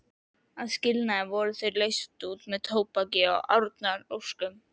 Að skilnaði voru þau leyst út með tóbaki og árnaðaróskum.